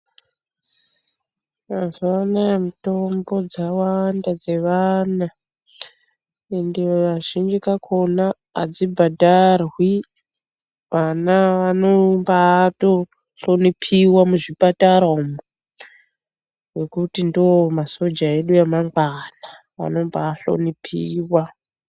Mazuva anaya mitombo dzawanda dzevana ende kazhinji kakona hadzibhadharwi. Vana vanombato hlonipiwa muzvipatara umo nekuti ndiwo masoja edu emangwana vanomba hlonipiiwa.